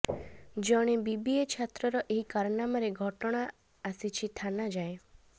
ଜଣେ ବିବିଏ ଛାତ୍ରର ଏହି କାରନାମାରେ ଘଟଣା ଆସିଛି ଥାନା ଯାଏଁ